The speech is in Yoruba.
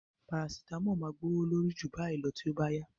Parasitamọ́ọ̀ máa gbówó lórí ju báyìí lọ tí ó bá yá